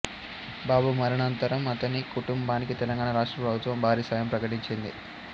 బాబు మరణానంతరం అతని కుటుంబానికి తెలంగాణ రాష్ట్ర ప్రభుత్వం భారీ సాయం ప్రకటించింది